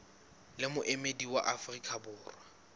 le moemedi wa afrika borwa